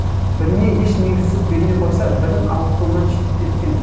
біріне еш негізсіз бермей қойса бірін аукционнан шеттеткен